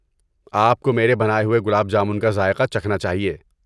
آپ کو میرے بنائے ہوئے گلاب جامن کا ذائقہ چکھنا چاہئیں۔